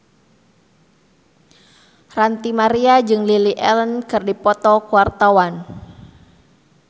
Ranty Maria jeung Lily Allen keur dipoto ku wartawan